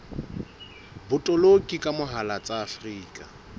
botoloki ka mohala tsa afrika